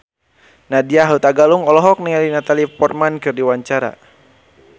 Nadya Hutagalung olohok ningali Natalie Portman keur diwawancara